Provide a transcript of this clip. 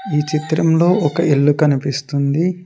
ఈ చిత్రంలో ఒక ఇల్లు కనిపిస్తుంది.